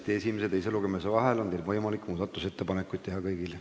Tõesti, esimese ja teise lugemise vahel on kõigil võimalik muudatusettepanekuid teha.